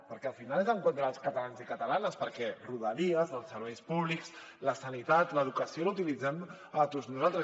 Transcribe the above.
perquè al final és en contra dels catalans i catalanes perquè rodalies els serveis públics la sanitat l’educació els utilitzem tots nosaltres